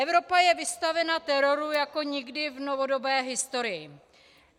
Evropa je vystavena teroru jako nikdy v novodobé historii.